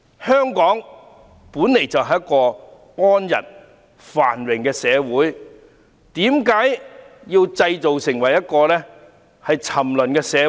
香港本來就是一個安逸繁榮的社會，為何要把香港製造成為一個沉淪的社會？